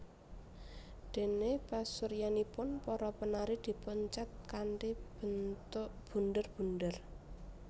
Dene pasuryanipun para penari dipun cet kanthi bentuk bunder bunder